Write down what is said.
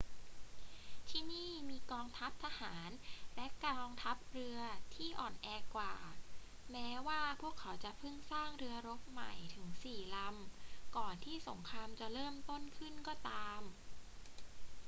ที่นี่มีกองทัพทหารและกองทัพเรือที่อ่อนแอกว่า แม้ว่าพวกเขาจะเพิ่งสร้างเรือรบใหม่ถึงสี่ลำก่อนที่สงครามจะเริ่มต้นขึ้นก็ตาม